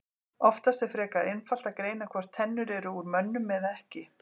Oftast er frekar einfalt að greina hvort tennur eru úr mönnum eða ekki.